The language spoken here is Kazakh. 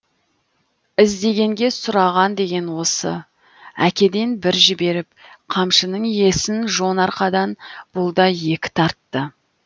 іздегенге сұраған деген осы әкеден бір жіберіп қамшының иесін жон арқадан бұл да екі тартты